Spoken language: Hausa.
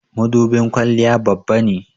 mudubin kwalliya Babba ne